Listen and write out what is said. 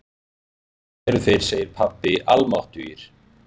Báðir eru þeir, segir pabbi, almáttugir.